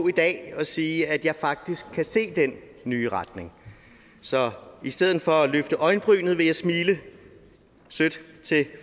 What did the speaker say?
i dag og sige at jeg faktisk kan se den nye retning så i stedet for at løfte øjenbrynet vil jeg smile sødt til